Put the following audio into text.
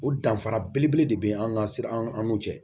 O danfara belebele de be an ga sira an n'u cɛ